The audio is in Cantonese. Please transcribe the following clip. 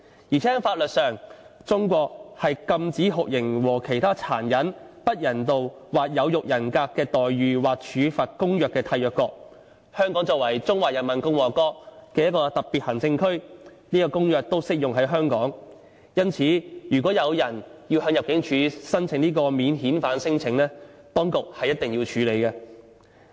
況且，在法律上，中國是《禁止酷刑和其他殘忍、不人道或有辱人格的待遇或處罰公約》的締約國，香港作為中華人民共和國的特別行政區，這公約都適用於香港，因此如果有人向入境處提出免遣返聲請，當局是一定要處理。